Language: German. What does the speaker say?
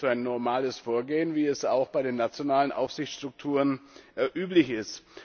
Ich halte das für ein normales Vorgehen, wie es auch bei den nationalen Aufsichtsstrukturen üblich ist.